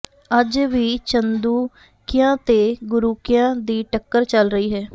ਅੱਜ ਵੀ ਚੰਦੂਕਿਆ ਤੇ ਗੁਰੂਕਿਆ ਦੀ ਟੱਕਰ ਚੱਲ ਰਹੀ ਹੈ